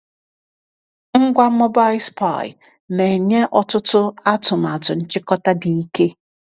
Ngwa Mobile Spy na-enye ọtụtụ atụmatụ nchịkọta dị ike!